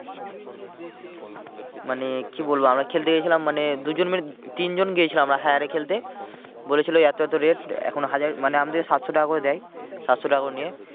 মানে কি বলবো আমরা খেলতে গিয়েছিলাম মানে দুজন মিলে তিনজন গিয়েছিলাম আমরা hire এ খেলতে বলেছিলো এতো এতো rate এখন হাজার মানে আমাদেরকে সাতশো টাকা করে দেয়। সাতশো টাকা করে নিয়ে